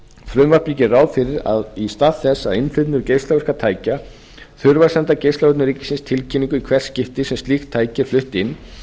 frumvarpið gerir ráð fyrir að í stað þess að að innflytjendur geislavirkra tækja þurfi að senda geislavörnum ríkisins tilkynningu í hvert skipti sem slíkt tæki er flutt inn